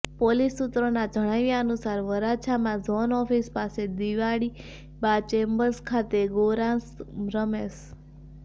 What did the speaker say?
police સૂત્રોના જણાવ્યા અનુસાર વરાછામાં ઝોન ઓફિસ પાસે દિવાળીબા ચેમ્બર્સ ખાતે રહેતો ગૌરાંગ રમેશ